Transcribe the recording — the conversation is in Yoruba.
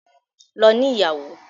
Lọ ní ìyàwó!